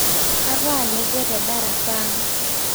Kataa nekwe tedarasa aang